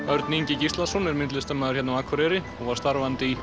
Örn Ingi Gíslason er myndlistarmaður hérna á Akureyri og var starfandi í